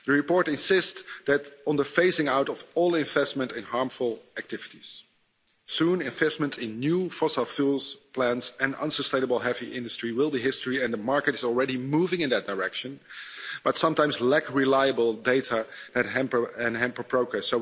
The report insists on the phasing-out of all investment in harmful activities. Soon investment in new fossil fuel plants and unsustainable heavy industry will be history. The market is already moving in that direction, but sometimes a lack reliable data can hamper progress.